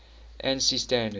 ansi standards